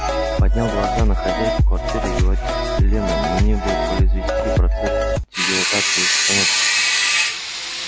поднял глаза на хозяйку квартиры и говорит лена мне бы произвести процесс дегидратации штанов